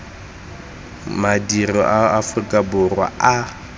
madirelo a aforika borwa a